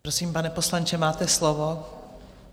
Prosím, pane poslanče, máte slovo.